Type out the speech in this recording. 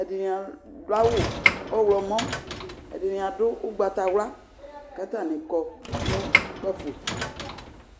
ɛɖini aɖʋ awu ɔɣlɔmɔ, ɛɖini adʋ ugbatawla k'atani kɔ nʋ kpafo